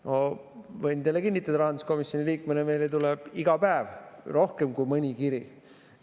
Ma võin teile kinnitada rahanduskomisjoni liikmena, et meile tuleb iga päev rohkem kui mõni kiri.